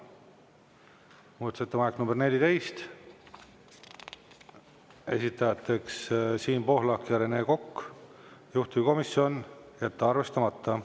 Muudatusettepanek nr 14, esitajateks Siim Pohlak ja Rene Kokk, juhtivkomisjon: jätta arvestamata.